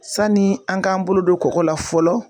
Sani an k'an bolo don kɔgɔ la fɔlɔ.